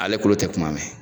Ale kulo tɛ kuma mɛn.